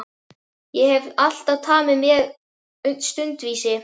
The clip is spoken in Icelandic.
Ég hef alltaf tamið mér stundvísi.